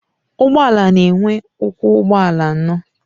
Ụgbọala na-enwe ụkwụ ụgbọala ano